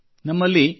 ಮತ್ತು ನಮ್ಮಲ್ಲಿ